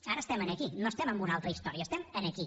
ara estem aquí no estem en una altra història estem aquí